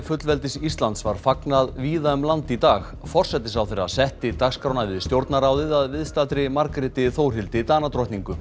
fullveldis Íslands var fagnað víða um land í dag forsætisráðherra setti dagskrána við Stjórnarráðið að viðstaddri Margréti Þórhildi